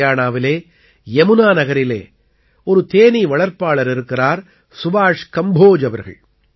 ஹரியாணாவிலே யமுனாநகரிலே ஒரு தேனீ வளர்ப்பாளர் இருக்கிறார் சுபாஷ் கம்போஜ் அவர்கள்